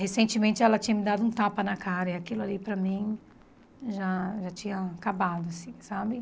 Recentemente ela tinha me dado um tapa na cara e aquilo ali para mim já já tinha acabado, assim, sabe?